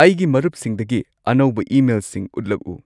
ꯑꯩꯒꯤ ꯃꯔꯨꯞꯁꯤꯡꯗꯒꯤ ꯑꯅꯧꯕ ꯏꯃꯦꯜꯁꯤꯡ ꯎꯠꯂꯛꯎ